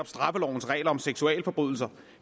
straffelovens regler om seksualforbrydelser